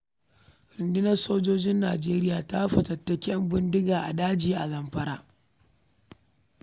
Rundunar sojin Najeriya ta fatattaki ƴanbindiga daga wani daji a Zamfara.